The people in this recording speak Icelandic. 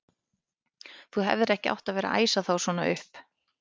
Þú hefðir ekki átt að vera að æsa þá svona upp!